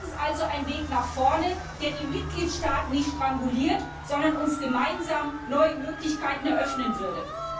Das ist also ein Weg nach vorne, der die Mitgliedstaaten nicht stranguliert, sondern uns gemeinsam neue Möglichkeiten eröffnen würde.